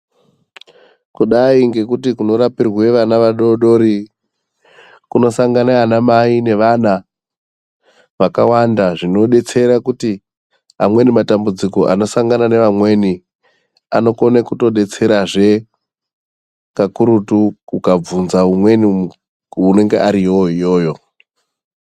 Kudai ngekuti kuno rapirwe ana adoodori kuno sangana ana mai nevana vakawanda zvinodetsera kuti amweni matambudziko anosangana nevamweni anokone kutodetsera zvee kakurutu ukabvunza umweni anenge ariyo iyoyo.